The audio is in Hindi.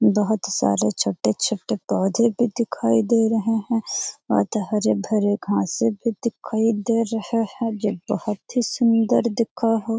बहुत सारे छोटे-छोटे पौधे भी दिखाई दे रहे है बहुत हरे-भरे घासे भी दिखाई दे रहे है जो बहुत ही सुंदर दिखा हो।